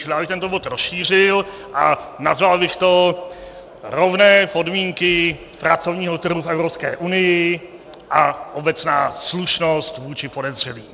Tedy já bych tento bod rozšířil a nazval bych to Rovné podmínky pracovního trhu v EU a obecná slušnost vůči podezřelým.